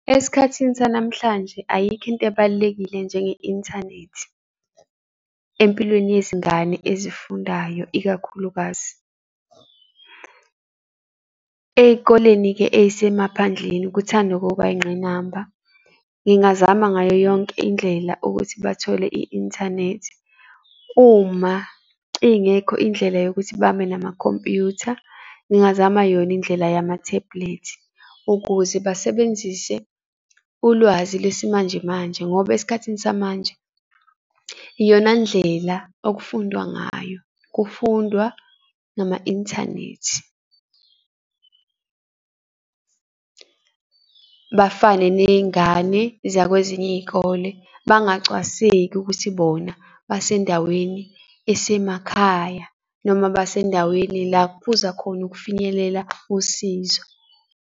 Esikhathini sanamhlanje ayikho into ebalulekile njenge inthanethi empilweni yezingane ezifundayo ikakhulukazi. Eyikoleni-ke ey'semaphandleni kuthanda ukuba ingqinamba. Ngingazama ngayo yonke indlela ukuthi bathole i-inthanethi. Uma ingekho indlela yokuthi babe namakhompuyutha, ngingazama yona indlela yama-tablet, ukuze basebenzise ulwazi lesimanje manje. Ngoba esikhathini samanje iyona ndlela okufundwa ngayo, kufundwa ngama inthanethi. Bafane ney'ngane, zakwezinye iy'kole, bangacwaseki ukuthi bona basendaweni esemakhaya noma basendaweni la kuphuza khona ukufinyelela usizo.